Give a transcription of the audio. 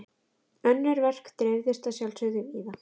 Önnur verk dreifðust að sjálfsögðu víða.